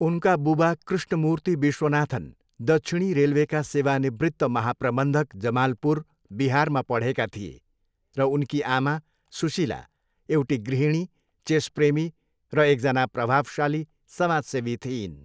उनका बुबा कृष्णमूर्ति विश्वनाथन, दक्षिणी रेलवेका सेवानिवृत्त महाप्रबन्धक, जमालपुर, बिहारमा पढेका थिए र उनकी आमा, सुशीला, एउटी गृहिणी, चेस प्रेमी र एकजना प्रभावशाली समाजसेवी थिइन्।